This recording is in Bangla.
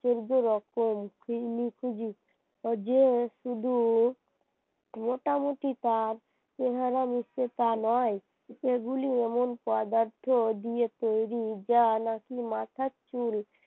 এমন পদার্থ দিয়ে তৈরি যা নাকি মাথার চুল